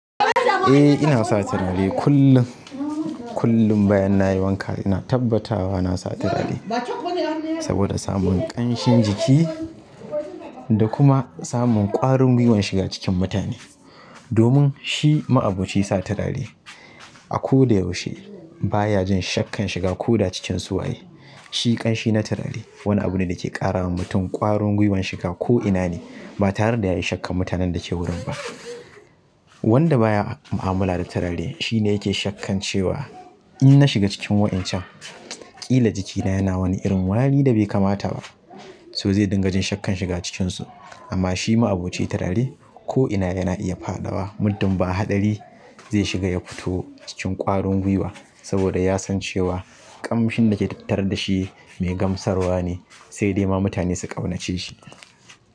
Eh ina sa turare kullum, kullum bayan nayi wanka ina tabbatawa na sa turare saboda samun ƙanshin jiki da kuma samun ƙwarin gwiwan shiga cikin mutane. Domin shi ma'aboci sa turare a ko da yaushe baya jin shakkan shiga ko da cikin su waye. Shi kanshi na turare wani abu ne dake ƙara wa mutum ƙwarin gwiwan shiga ko'ina ne ba tare da yayi shakkan mutanen da ke wurin ba. Wanda baya mu'amala da turare shine yake shakkan cewa in na shiga cikin wa'incan ƙila jikina yana wani irin wari da bai kamata ba. To zai dinga jin shakkan shiga cikin su amma shi ma'aboci turare ko'ina yana iya fadawa. Muddun ba haɗari zai shiga ya fito cikin ƙwarin gwiwa saboda ya san cewa kamshin dake tattare da shi mai gamsarwa ne sai dai ma mutane su ƙaunace shi.